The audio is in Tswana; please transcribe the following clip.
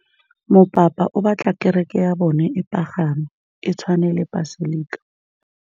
Mopapa o batla kereke ya bone e pagame, e tshwane le paselika.